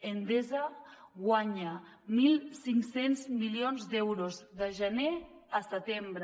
endesa guanya mil cinc cents milions d’euros de gener a setembre